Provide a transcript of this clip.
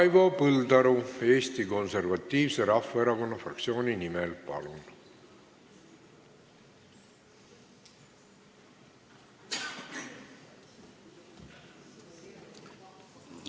Raivo Põldaru Eesti Konservatiivse Rahvaerakonna fraktsiooni nimel, palun!